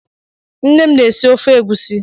Nne m na-esi ofe egusi.